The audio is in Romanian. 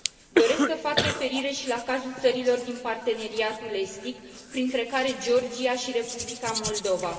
Doresc să fac referire și la cazul țărilor din Parteneriatul estic, printre care Georgia și Republica Moldova.